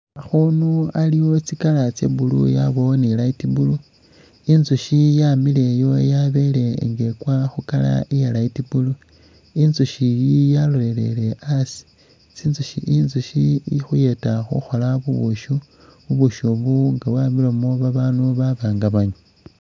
Akhunu aliwo tsi colour tsa blue yabawo ni light blue inzushi yamileyo yabale nga ikwa khu colour iya light blue inzushi yi yaloleye asi inzushi ikhuyeta khukhola ubushi ubushi bu nga bwamilemo abandu kanga banywa